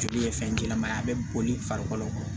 Joli ye fɛn jɛman ye a bɛ boli farikolo